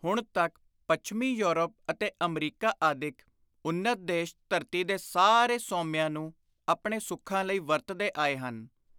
ਹੁਣ ਤਕ ਪੱਛਮੀ ਯੂਰਪ ਅਤੇ ਅਮਰੀਕਾ ਆਦਿਕ ਉੱਨਤ ਦੇਸ਼ ਧਰਤੀ ਦੇ ਸਾਰੇ ਸੋਮਿਆਂ ਨੂੰ ਆਪਣੇ ਸੁਖਾਂ ਲਈ ਵਰਤਦੇ ਆਏ ਹਨ।